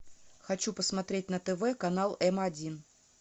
хочу посмотреть на тв канал м один